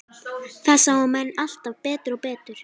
Það sáu menn alltaf betur og betur.